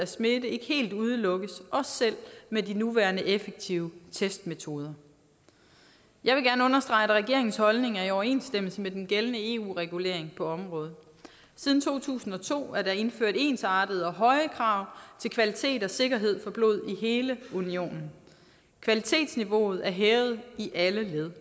smitte ikke helt udelukkes selv med de nuværende effektive testmetoder jeg vil gerne understrege at regeringens holdning er i overensstemmelse med den gældende eu regulering på området siden to tusind og to er der indført ensartede og høje krav til kvalitet og sikkerhed for blod i hele unionen kvalitetsniveauet er hævet i alle led